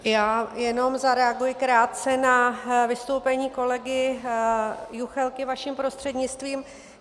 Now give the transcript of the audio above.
Já jenom zareaguji krátce na vystoupení kolegy Juchelky vaším prostřednictvím.